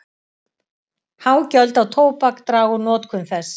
Há gjöld á tóbak draga úr notkun þess.